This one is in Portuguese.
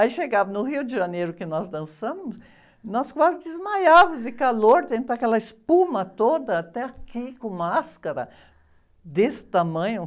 Aí chegava no Rio de Janeiro, que nós dançamos, nós quase desmaiavamos de calor dentro daquela espuma toda, até aqui, com máscara, desse tamanho.